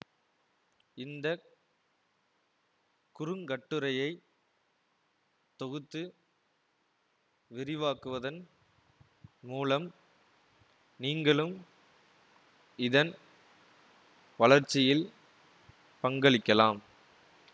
இந்த குறுங்கட்டுரையை தொகுத்து விரிவாக்குவதன் மூலம் நீங்களும் இதன் வளர்ச்சியில் பங்களிக்கலாம்